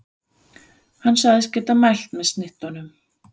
Hann sagðist geta mælt með snittunum.